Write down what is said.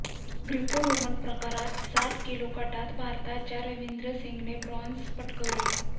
Greco Roman प्रकारात साठ kilo गटात भारताच्या रविंदर सिंगने ब्राँझ पटकावले